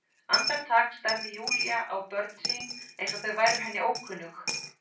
Andartak starði Júlía á börn sín eins og þau væru henni ókunnug.